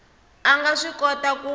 a nga swi kota ku